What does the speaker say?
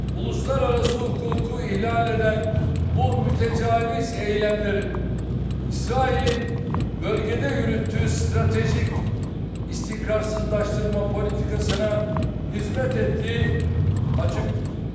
Uluslararası hukuku ihlal eden bu mütəcavüz eylemlərin İsrailin bölgədə yürütüğü stratejik istikrarsızlaştırma politikasına hizmət etdiyi açıqdır.